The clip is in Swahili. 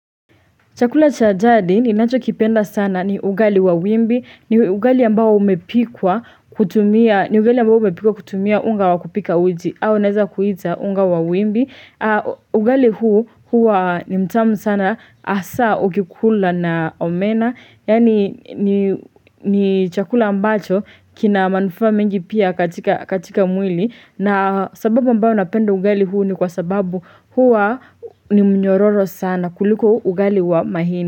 Chakula cha jadi ninacho kipenda sana ni ugali wa wimbi ni ugali ambao umepikwa kutumia ni ugali ambao umepikwa kutumia unga wa kupika uji au naeza kuita unga wa wimbi ugali huu huwa ni mtamu sana hasa ukikula na omena. Yaani ni ni chakula ambacho kina manufaa mengi pia katika mwili. Na sababu ambayo napenda ugali huu ni kwa sababu huwa ni mnyororo sana kuliko ugali wa mahindi.